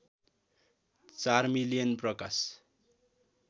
४ million Prakash